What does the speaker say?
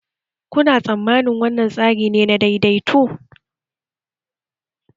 Ta yi faɗa da kishiyoyin ta a satin daya gabata?